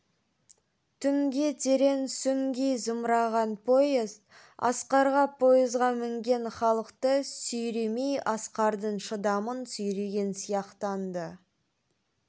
түнге терең сүңги зымыраған поезд асқарға поезға мінген халықты сүйремей асқардың шыдамын сүйреген сияқтанды